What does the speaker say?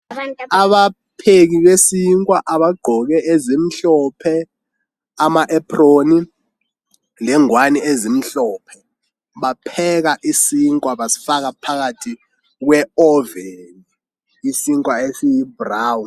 Abapheki besikwa abagqoke ezimhlophe ama epron lengwani ezimhlophe bapheka isinkwa basifaka phakathi kwe oven isikwa esiyi brown